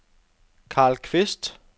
Carl Kvist